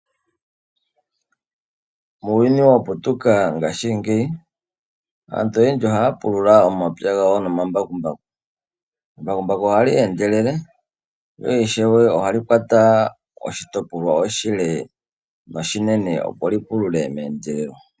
Muuyuni waputuka ngashingeyi aantu oyendji ohaapulula omapywa gawo nomambakumbaku. Embakumbaku ohali endelele na ishewe ohali kwata oshitopolwa oshile noshinene opo lipulule meendelelo.